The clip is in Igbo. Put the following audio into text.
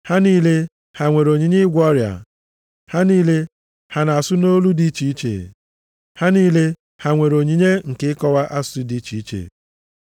Ha niile ha nwere onyinye ịgwọ ọrịa? Ha niile ha na-asụ nʼolu dị iche iche? Ha niile ha nwere onyinye nke ịkọwa asụsụ dị iche iche?